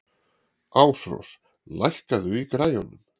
Ásrós, lækkaðu í græjunum.